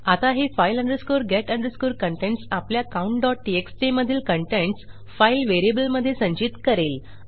आता हे file get contents आपल्या countटीएक्सटी मधील कंटेंट्स फाईल व्हेरिएबल मधे संचित करेल